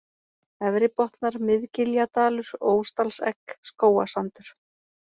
Efri-Botnar, Mið-Giljadalur, Ósdalsegg, Skógasandur